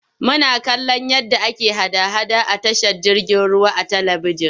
Muna kallon yadda ake hada-hada a tashar jirgin ruwa a talibijin.